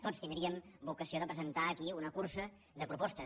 tots tindríem vocació de presentar aquí una cursa de propostes